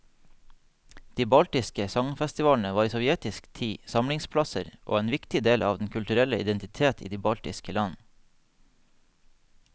De baltiske sangfestivalene var i sovjetisk tid samlingsplasser og en viktig del av den kulturelle identitet i de baltiske land.